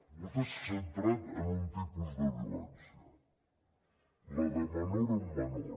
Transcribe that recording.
vostè s’ha centrat en un tipus de violència la de menor a menor